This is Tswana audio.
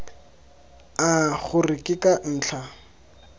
a gore ke ka ntlha